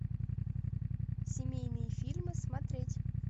семейные фильмы смотреть